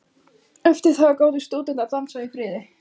Eftir það gátu stúdentar dansað í friði.